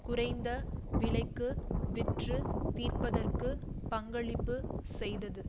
குறைந்த விலைக்கு விற்று தீர்ப்பதற்கு பங்களிப்பு செய்தது